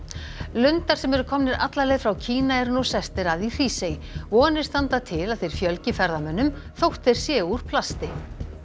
lundar sem eru komnir alla leið frá Kína eru nú sestir að í Hrísey vonir standa til að þeir fjölgi ferðamönnum þótt þeir séu úr plasti